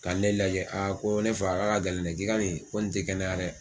Ka ne lajɛ a ko ne fa ka ka gɛlɛndɛ ki ka nin, ko nin tɛ kɛnɛya dɛ.